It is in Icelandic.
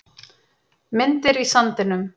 Myndir í sandinum